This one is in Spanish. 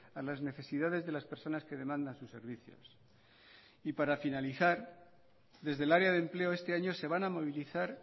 a las necesidades de las personas que demandan sus servicios y para finalizar desde el área de empleo este año se van a movilizar